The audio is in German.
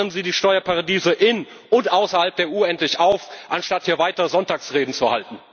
gibt. Trocknen Sie die Steuerparadiese in und außerhalb der EU endlich aus, anstatt hier weiter Sonntagsreden zu halten!